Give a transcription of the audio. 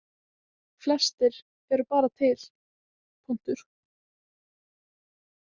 Flestir eru bara til, punktur.